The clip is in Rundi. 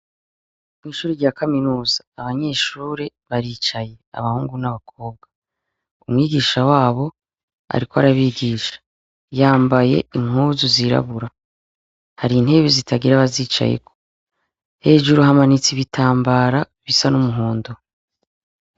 Kw'ishure rya kaminuza abanyeshure baricaye, abahungu n'abakobwa. Umwigisha wabo ariko arabigisha. Yambaye impuzu zirabura. Hari intebe zitagira abazicayeko. Hejuru hamanitse ibitambara bisa n'umuhondo.